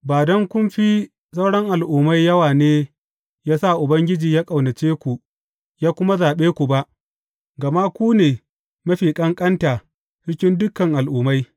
Ba don kun fi sauran al’ummai yawa ne ya sa Ubangiji ya ƙaunace ku, ya kuma zaɓe ku ba, gama ku ne mafi ƙanƙanta cikin dukan al’ummai.